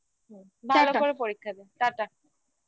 হুম tata ভালো করে পরীক্ষা দে tata